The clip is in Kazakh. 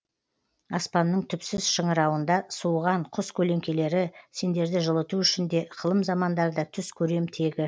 аспанның түпсіз шыңырауында суыған құс көлеңкелері сендерді жылыту үшін де ықылым замандарда түс көрем тегі